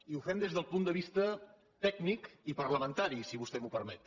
i ho fem des del punt de vista tècnic i parlamentari si vostè m’ho permet